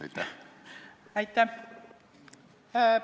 Aitäh!